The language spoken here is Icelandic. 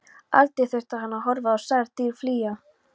Aldrei þurfti hann að horfa á særð dýr flýja.